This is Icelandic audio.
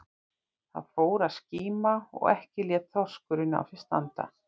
Það fór að skíma og ekki lét þorskurinn á sér standa.